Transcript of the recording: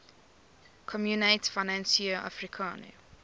communaute financiere africaine